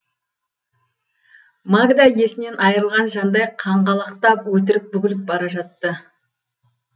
магда есінен айырылған жандай қаңғалақтап өтірік бүгіліп бара жатты